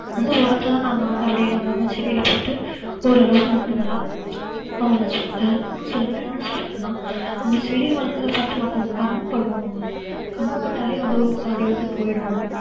அந்த உரத்தை தான் நாங்க வந்து அப்படியே நாங்க அங்கங்க செடியில போட்டு ஓரளவுக்கு வந்து நல்லா நம்ம செடி வளர்க்கறது பார்த்து மத்தவங்க கண்ணுபடுமா கண்ணுபட்டாலே அந்த ஒரு பாதி வந்து போயிடும்